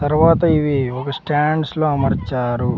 తర్వాత ఇవి ఒక స్టాండ్స్ లో అమర్చారు.